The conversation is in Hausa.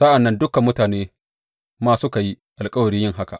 Sa’an nan dukan mutane ma suka yi alkawari yin haka.